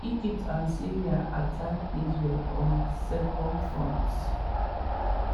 egypt and syria attack israel on two fronts.